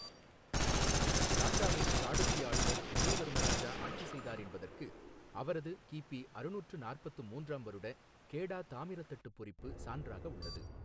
லாட்டாவை சாளுக்கிய ஆளுநர் விஜய வர்ம ராஜா ஆட்சி செய்தார் என்பதற்கு அவரது கிபி அறுநூற்று நாற்பத்து மூன்றாம் வருட கேடா தாமிரத் தட்டுப் பொறிப்பு சான்றாக உள்ளது.